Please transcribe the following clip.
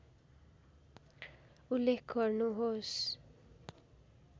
उल्लेख गर्नुहोस्